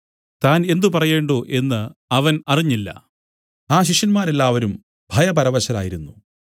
താൻ എന്ത് പറയേണ്ടു എന്നു അവൻ അറിഞ്ഞില്ല ആ ശിഷ്യന്മാരെല്ലാവരും ഭയപരവശരായിരുന്നു